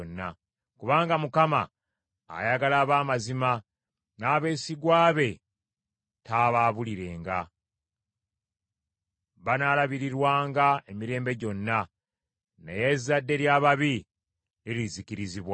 Kubanga Mukama ayagala ab’amazima, n’abeesigwa be taabaabulirenga. Banaalabirirwanga emirembe gyonna; naye ezzadde ly’ababi lirizikirizibwa.